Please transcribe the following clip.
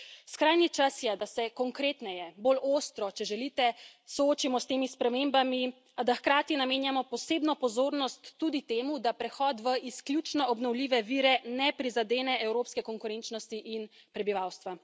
Skrajni čas je, da se konkretneje, bolj ostro, če želite, soočimo s temi spremembami, a da hkrati namenjamo posebno pozornost tudi temu, da prehod v izključno obnovljive vire ne prizadene evropske konkurenčnosti in prebivalstva.